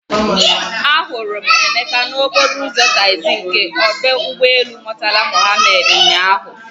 Ahụrụ m Emeka n'okporo ụzọ taxi nke ọdụ ụgbọ elu Murtala Mohammed ụnyahụ.